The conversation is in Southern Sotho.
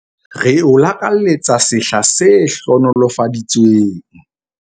Re o lakaletsa sehla se hlohonolofaditsweng!